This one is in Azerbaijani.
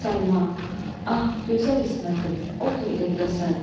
Səlma, ah gözəl İsmətim, otur evdəsən.